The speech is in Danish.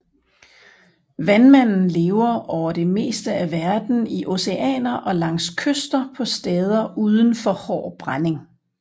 Vandmanden lever over det meste af verden i oceaner og langs kyster på steder uden for hård brænding